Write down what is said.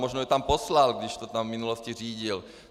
Možná ji tam poslal, když to tam v minulosti řídil.